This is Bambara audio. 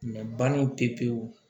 banni pepewu